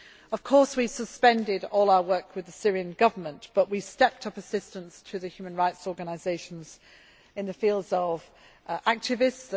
Of course, we have suspended all our work with the Syrian Government but have stepped up assistance through the human rights organisations in the fields of activists